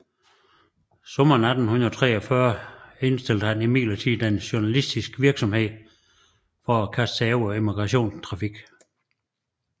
Sommeren 1843 indstillede han imidlertid denne journalistiske virksomhed for at kaste sig over emigrationstrafik